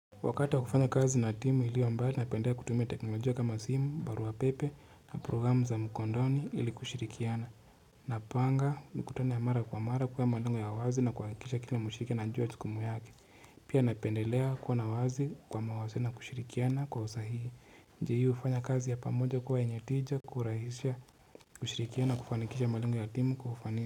Wakati wa kufanya kazi na timu ilio mbali napendelea kutumia teknolojia kama simu barua pepe na programu za mkondoni ili kushirikiana Napanga mkutano ya mara kwa mara kuwa malengo ya wazi na kuhakikisha kila mshiriki anajua jukumu yake Pia napendelea kuwa na wazi kwa mawasiliano na kushirikiana kwa usahihi njia hii hufanya kazi ya pamoja kuwa yenye tija kurahisha kushirikiano kufanikisha malengo ya timu kufania.